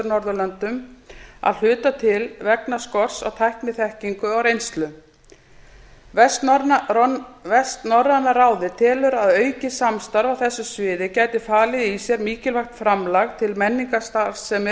norðurlöndum að hluta til vegna skorts á tækniþekkingu og reynslu vestnorræna ráðið telur að aukið samstarf á þessu sviði gæti falið í sér mikilvægt framlag til menningarstarfsemi